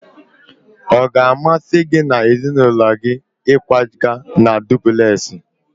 Ọ ga-amasị gị na ezinụlọ gị ịkwaga na dupulesi?